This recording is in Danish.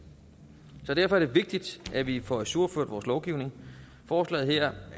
så derfor er det vigtigt at vi får ajourført vores lovgivning forslaget her